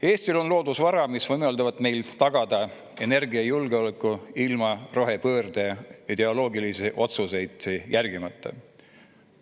Eestil on loodusvara, mis võimaldab meil tagada energiajulgeoleku ilma rohepöörde ideoloogilisi otsuseid järgimata.